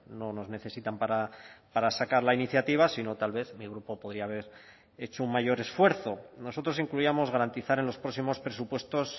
no nos necesitan para sacar la iniciativa sino tal vez mi grupo podía haber hecho un mayor esfuerzo nosotros incluíamos garantizar en los próximos presupuestos